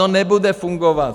No nebude fungovat!